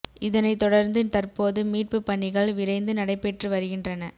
இதனை தொடர்ந்து தற்போது மீட்பு பணிகள் விரைந்து நடைபெற்று வருகின்றன